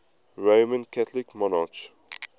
roman catholic monarchs